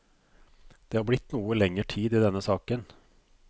Det har blitt noe lenger tid i denne saken.